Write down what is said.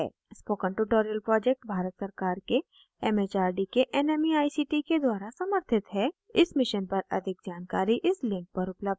spoken tutorial project Bharat सरकार के M H R D के nmeict के द्वारा समर्थित है इस mission पर अधिक जानकारी इस link पर उपलब्ध है